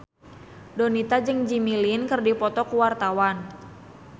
Donita jeung Jimmy Lin keur dipoto ku wartawan